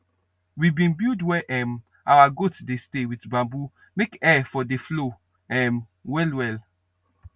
we bin build where um out goat dey stay wit bamboo make air for dey flow um well well